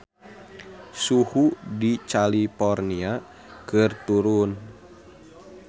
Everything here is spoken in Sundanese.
Suhu di California keur turun